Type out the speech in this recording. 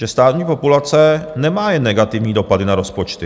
Že stárnutí populace nemá jen negativní dopady na rozpočty.